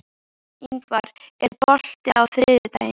Ingvar, er bolti á þriðjudaginn?